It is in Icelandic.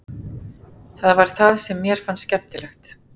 Það var það sem mér fannst skemmtilegt.